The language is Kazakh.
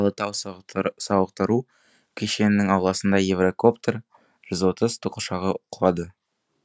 алатау сауықтыру кешенінің ауласына еврокоптер жүз отыз тікұшағы құлады